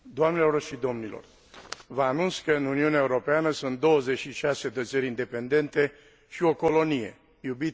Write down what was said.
Vă anunț că în Uniunea Europeană sunt 26 de țări independente și o colonie iubita mea țară, România.